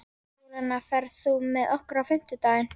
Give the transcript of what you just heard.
Júlíana, ferð þú með okkur á fimmtudaginn?